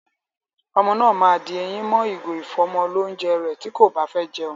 Ọmọ náà ma di eyín mọ́ ìgò ìfọ́mọlónjẹ rẹ̀ tí kò báfẹ́ jẹun.